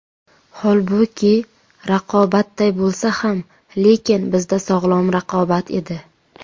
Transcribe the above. Holbuki raqobatday bo‘lsa ham, lekin, bizda sog‘lom raqobat edi.